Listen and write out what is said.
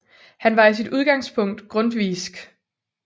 Han var i sit udgangspunkt grundtvigsk